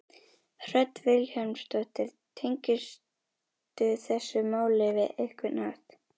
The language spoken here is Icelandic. Hödd Vilhjálmsdóttir: Tengistu þessu máli á einhvern hátt?